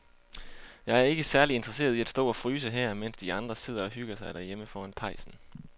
Jeg er ikke særlig interesseret i at stå og fryse her, mens de andre sidder og hygger sig derhjemme foran pejsen.